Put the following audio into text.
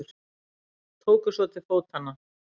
Tóku svo til fótanna.